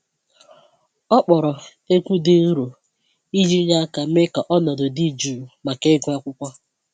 Ọ kpọrọ egwu dị nro iji nye aka mee ka ọnọdụ dị jụụ maka ịgụ akwụkwọ